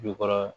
Jukɔrɔ